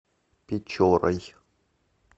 печорой